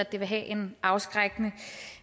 det vil have en afskrækkende